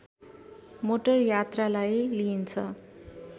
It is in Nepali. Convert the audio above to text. मोटर यात्रालाई लिइन्छ